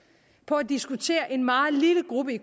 på at diskutere en meget lille gruppe